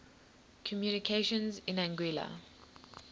communications in anguilla